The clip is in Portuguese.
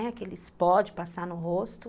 Aqueles pó de passar no rosto.